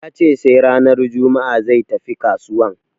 Ya ce sai ranar juma'a zai tafi kasuwan.